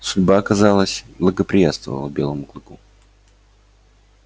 судьба казалось благоприятствовала белому клыку